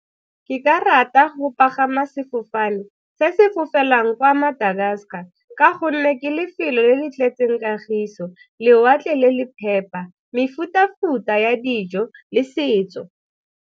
Ke ka rata go pagama sefofane se se fofelang kwa Madagascar ka gonne ke lefelo le le tletseng kagiso, lewatle le le phepa, mefuta-futa ya dijo le setso.